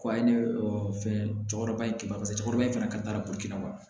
Ko a ye ne fɛn cɔkɔrɔba in kɛ barisa cɛkɔrɔba in fana ka taa boli kɛnɛma